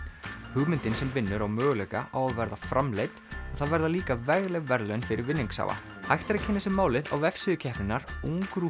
hugmyndin sem vinnur á möguleika á að verða framleidd og það verða líka vegleg verðlaun fyrir vinningshafa hægt er að kynna sér málið á vefsíðu keppninnar